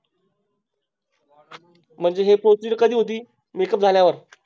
म्हणजे हि Proceed कधी होते Make up झाल्यावर